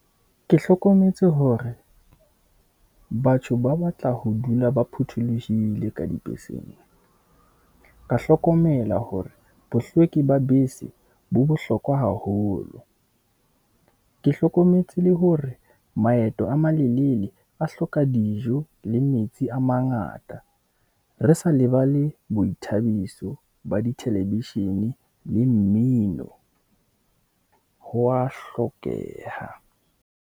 Ke hlokometse hore batho ba batla ho dula ba phuthulohile ka dibeseng. Ka hlokomela hore bohlweki ba bese bo bohlokwa haholo. Ke hlokometse le hore maeto a malelele a hloka dijo le metsi a mangata, re sa lebale boithabiso ba dithelevishene le mmino ho a hlokeha.